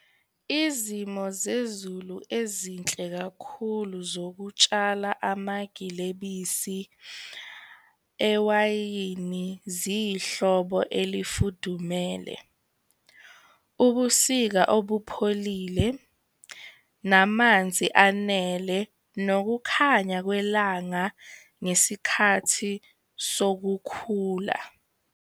Izimo zezulu ezinhle kakhulu zokutshala amagilebisi ewayini ziyihlobo elifudumele. Ubusika obupholile, namanzi anele, nokukhanya kwelanga ngesikhathi sokukhula.